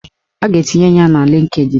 A ga-etinye ya na Lịnkdịn